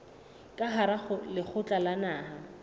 ka hara lekgotla la naha